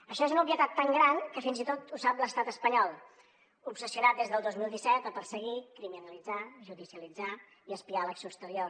això és una obvietat tan gran que fins i tot ho sap l’estat espanyol obsessionat des del dos mil disset a perseguir criminalitzar judicialitzar i espiar l’acció exterior